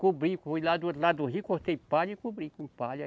Cobri, lá do rio, cortei palha e cobri com palha.